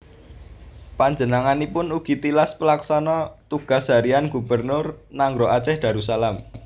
Panjenenganipun ugi tilas Pelaksana Tugas Harian Gubernur Nanggroe Aceh Darussalam